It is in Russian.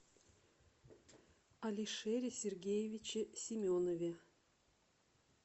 алишере сергеевиче семенове